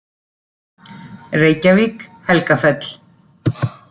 Reykjavík, Helgafell.